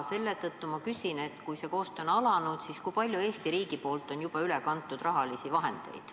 Selle tõttu ma küsin, et kui see koostöö on alanud, siis kui palju rahalisi vahendeid on Eesti riigi poolt juba üle kantud.